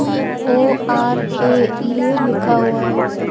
EORA ये यह लिखा हुआ है ऊपर।